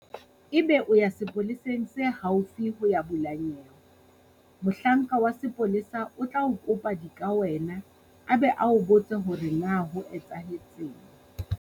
Ebe o ya sepoleseng se haufi ho ya bula nyewe. Mohlanka wa sepolesa o tla o kopa dikawena a be a o botse hore na ho etsahetseng.